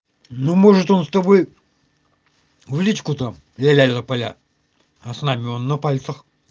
ну может он с тобой в личку там ля-ля тополя а с нами он на пальцах